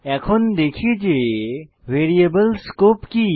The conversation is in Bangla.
এখন দেখি যে ভ্যারিয়েবল স্কোপ কি